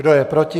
Kdo je proti?